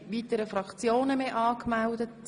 Es haben sich keine Fraktionen mehr angemeldet.